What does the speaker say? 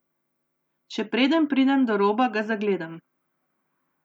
Še preden pridem do roba, ga zagledam.